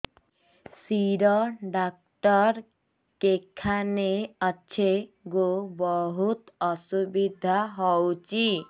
ଶିର doctor କେଖାନେ ଅଛେ ଗୋ ବହୁତ୍ ଅସୁବିଧା ହଉଚି